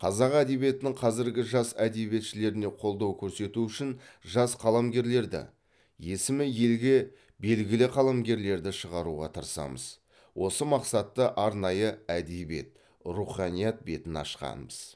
қазақ әдебиетінің қазіргі жас әдебиетшілеріне қолдау көрсету үшін жас қаламгерлерді есімі елге белгілі қаламгерлерді шығаруға тырысамыз осы мақсатты арнайы әдеби руханият бетіні ашқанбыз